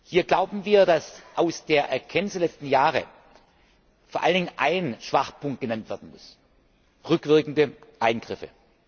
Hier glauben wir, dass aus der Erkenntnis der letzten Jahre vor allen Dingen ein Schwachpunkt genannt werden muss rückwirkende Eingriffe.